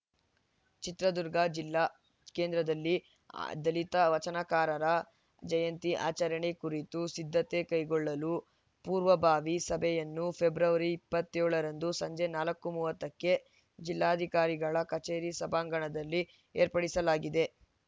ಚಿತ್ರದುರ್ಗ ಜಿಲ್ಲಾ ಕೇಂದ್ರದಲ್ಲಿ ದಲಿತ ವಚನಕಾರರ ಜಯಂತಿ ಆಚರಣೆ ಕುರಿತು ಸಿದ್ಧತೆ ಕೈಗೊಳ್ಳಲು ಪೂರ್ವಭಾವಿ ಸಭೆಯನ್ನು ಫೆಬ್ರವರಿ ಇಪ್ಪತ್ತ್ಯೋಳ ರಂದು ಸಂಜೆ ನಾಲ್ಕು ಮೂವತ್ತಕ್ಕೆ ಜಿಲ್ಲಾಧಿಕಾರಿಗಳ ಕಚೇರಿ ಸಭಾಂಗಣದಲ್ಲಿ ಏರ್ಪಡಿಸಲಾಗಿದೆ